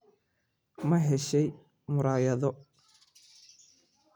Ma heshay muraayado?